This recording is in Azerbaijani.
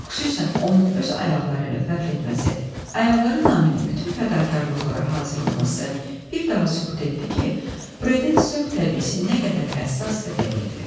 Xüsusən onun öz ayaqları ilə fəxr etməsi, ayaqları naminə bütün fədakarlıqlara hazır olması bir daha sübut etdi ki, Briden sövq təbiisi nə qədər həssas və dəqiqdir.